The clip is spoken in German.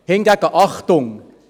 Hingegen Achtung: